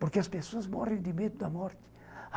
Porque as pessoas morrem de medo da morte.